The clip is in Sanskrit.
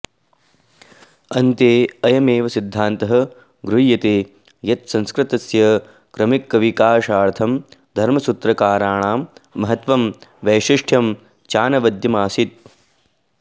अन्ते अयमेव सिद्धान्तः गृह्यते यत् संस्कृतस्य क्रमिकविकाशार्थं धर्मसूत्रकाराणां महत्त्वं वैशिष्ट्यं चानवद्यमासीत्